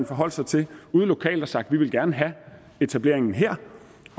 forholdt sig til ude lokalt og har sagt vi vil gerne have etableringen her